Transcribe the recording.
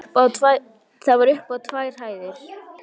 Það var upp á tvær hæðir.